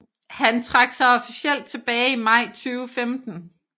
Han trak sig officielt tilbage i maj 2015